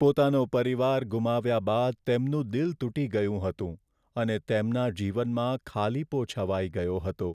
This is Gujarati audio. પોતાનો પરિવાર ગુમાવ્યા બાદ તેમનું દિલ તૂટી ગયું હતું અને તેમના જીવનમાં ખાલીપો છવાઈ ગયો હતો.